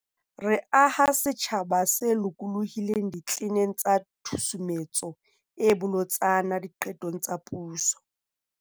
Re aha setjhaba se lokolohileng ditleneng tsa Tshusumetso e Bolotsana Diqetong tsa Puso.